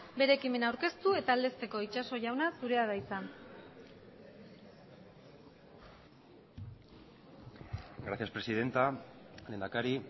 bere ekimena aurkeztu eta aldezteko itxaso jauna zurea da hitza gracias presidenta lehendakari